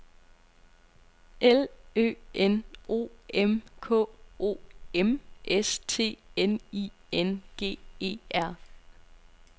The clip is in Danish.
L Ø N O M K O M S T N I N G E R